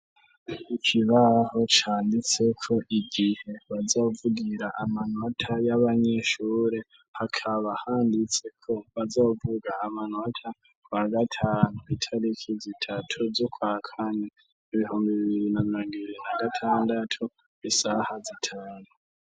Ikibaho canditse ko igihe bazovugira amanota y'abanyeshure hakaba handitse ko bazovuga amanota kuwa gatanu, itariki zitatu z'ukwa kane, ibihumbi bibiri na mirongo ibiri na gatandatu, isaha zitanu.